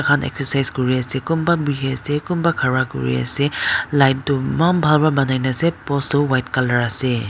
thakhan exercise kure ase kunba buhi ase kunba khara kure ase light tuh eman bhal pra banaina as post tuh white colour ase.